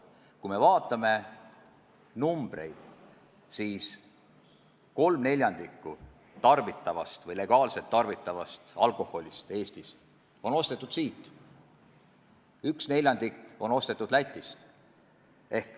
Kui me vaatame numbreid, siis näeme, et 3/4 Eestis legaalselt tarbitavast alkoholist on ostetud siit, 1/4 on ostetud Lätist.